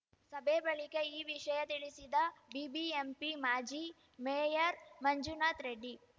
ಸಭೆ ಬಳಿಕ ಈ ವಿಷಯ ತಿಳಿಸಿದ ಬಿಬಿಎಂಪಿ ಮಾಜಿ ಮೇಯರ್‌ ಮಂಜುನಾಥ್‌ ರೆಡ್ಡಿ